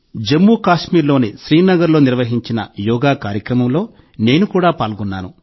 జమ్ముకశ్మీర్లోని శ్రీనగర్లో నిర్వహించిన యోగా కార్యక్రమంలో నేను కూడా పాల్గొన్నాను